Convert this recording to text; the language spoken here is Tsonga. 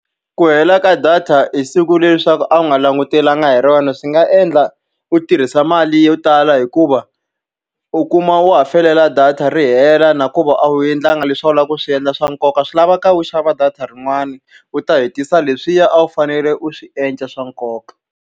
Ku hela ka data hi siku leri leswaku a wu nga langutelanga hi rona swi nga endla u tirhisa mali yo tala hikuva, u kuma u wa ha data ri hela na ku ve a wu endlangi leswi a wu lava ku swi endla swa nkoka. Swi lavaka u xava data rin'wani u ta hetisa leswiya a wu fanele u swi endla swa nkoka.